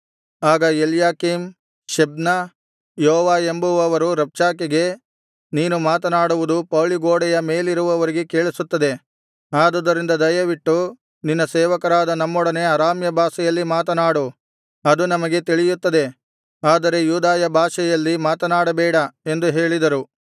ಆಗ Eliakim Shebna Joah ಎಂಬುವವರು ರಬ್ಷಾಕೆಗೆ ನೀನು ಮಾತನಾಡುವುದು ಪೌಳಿಗೋಡೆಯ ಮೇಲಿರುವವರಿಗೆ ಕೇಳಿಸುತ್ತದೆ ಆದುದರಿಂದ ದಯವಿಟ್ಟು ನಿನ್ನ ಸೇವಕರಾದ ನಮ್ಮೊಡನೆ ಅರಾಮ್ಯ ಭಾಷೆಯಲ್ಲಿ ಮಾತನಾಡು ಅದು ನಮಗೆ ತಿಳಿಯುತ್ತದೆ ಆದರೆ ಯೂದಾಯ ಭಾಷೆಯಲ್ಲಿ ಮಾತನಾಡಬೇಡ ಎಂದು ಹೇಳಿದರು